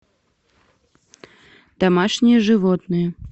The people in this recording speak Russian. домашние животные